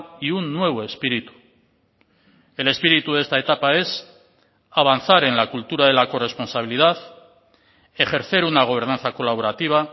y un nuevo espíritu el espíritu de esta etapa es avanzar en la cultura de la corresponsabilidad ejercer una gobernanza colaborativa